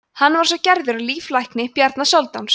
hann var svo gerður að líflækni bjarna sóldáns